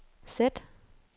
sæt